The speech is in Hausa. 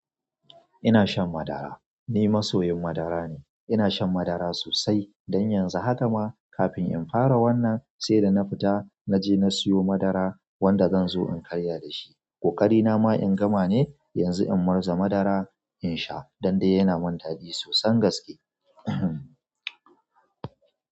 Ina shan madara. Ni masoyin madara ne. Ina shan madara sosai. Dan yanzu haka ma kafin in fara wannan sai da na fita na je na siyo madara wanda zan zo in karya da shi. Ko ƙari na ma in gama ne, yanzu in murza madara in sha. Don dai yana mun daɗi sosan gaske.